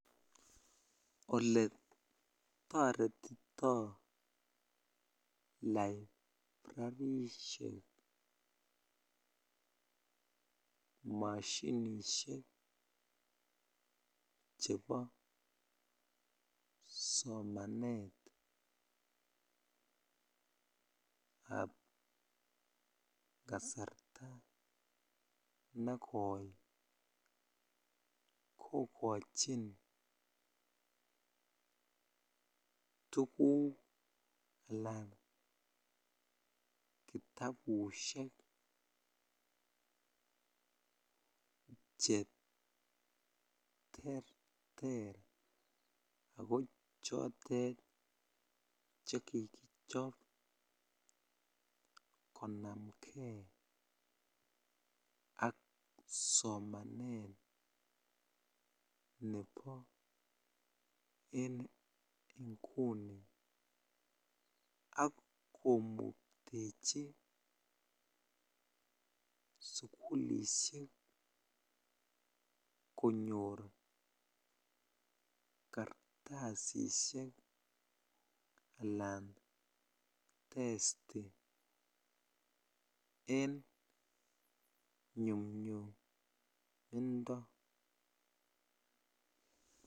Olee toretito librarishek moshinishek chebo somanetab kasarta nekoi kokochin tukuk alaan kitabushek che terter ak ko chotet chekikichop konamnge ak somanet nebo en inguni ak komuktechi sukulishek konyor kartasishek alaan testi en nyumnyumindo.